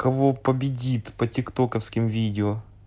кого победит по тик токавским видео